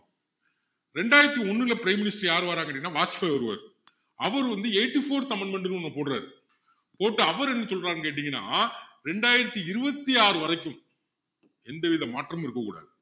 ரெண்டாயிரத்து ஒண்ணுல prime minister யாரு வாராங்கன்னு கேட்டீங்கன்னா வாஜ்பாயி வருவாரு அவர் வந்து eighty fourth amendment ன்னு ஒண்ணு போடுறாரு போட்டு அவரு என்ன சொல்றாருன்னு கேட்டீங்கன்னா ரெண்டாயிரத்து இருபத்து ஆறு வரைக்கும் எந்தவித மாற்றமும் இருக்கக்கூடாது